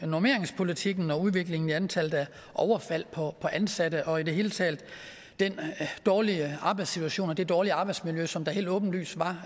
normeringspolitikken og udviklingen i antallet af overfald på ansatte og i det hele taget den dårlige arbejdssituation og det dårlige arbejdsmiljø som der helt åbenlyst var